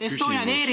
Estonian Airi ...